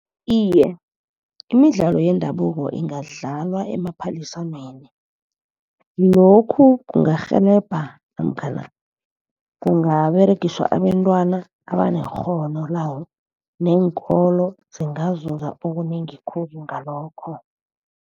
Iye, imidlalo yendabuko ingadlalwa emaphaliswaneni. Lokhu kungarhelebha namkhana kungaberegiswa abentwana abanekghono lawo. Neenkolo zingazuza okunengi khulu ngalokho.